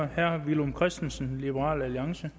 herre villum christensen liberal alliance